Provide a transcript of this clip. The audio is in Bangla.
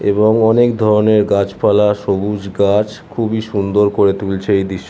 এবং অনেক ধরণের গাছপালা সবুজ গাছ খুবই সুন্দর করা তুলছে এই দৃশ্--